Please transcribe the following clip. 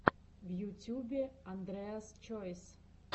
в ютюбе андреас чойс